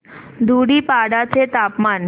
धुडीपाडा चे तापमान